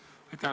Aitäh!